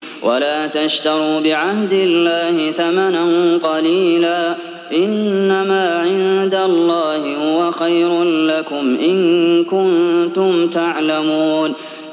وَلَا تَشْتَرُوا بِعَهْدِ اللَّهِ ثَمَنًا قَلِيلًا ۚ إِنَّمَا عِندَ اللَّهِ هُوَ خَيْرٌ لَّكُمْ إِن كُنتُمْ تَعْلَمُونَ